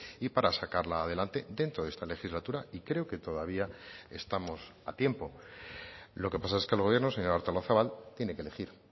y para sacarla adelante dentro de esta legislatura y creo que todavía estamos a tiempo lo que pasa es que el gobierno señora artolazabal tiene que elegir